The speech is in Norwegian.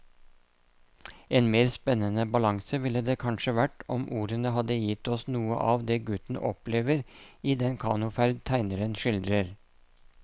En mer spennende balanse ville det kanskje vært om ordene hadde gitt oss noe av det gutten opplever i den kanoferd tegneren skildrer.